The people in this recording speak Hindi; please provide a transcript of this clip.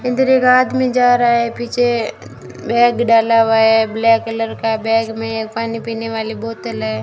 अंदर एक आदमी जा रहा है पीछे बैग डाला हुआ है ब्लैक कलर का बैग में पानी पीने वाली बोतल है।